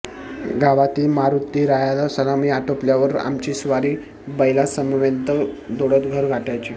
गावातील मारुतीरायाला सलामी आटोपल्यावर आमची स्वारी बैलांसमवेत दौडत घर गाठायची